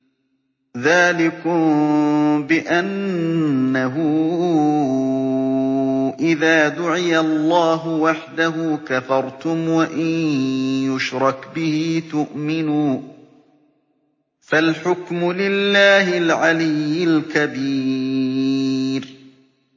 ذَٰلِكُم بِأَنَّهُ إِذَا دُعِيَ اللَّهُ وَحْدَهُ كَفَرْتُمْ ۖ وَإِن يُشْرَكْ بِهِ تُؤْمِنُوا ۚ فَالْحُكْمُ لِلَّهِ الْعَلِيِّ الْكَبِيرِ